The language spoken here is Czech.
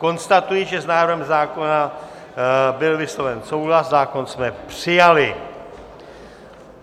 Konstatuji, že s návrhem zákona byl vysloven souhlas, zákon jsme přijali.